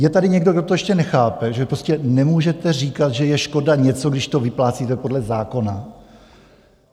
Je tady někdo, kdo to ještě nechápe, že prostě nemůžete říkat, že je škoda něco, když to vyplácíte podle zákona?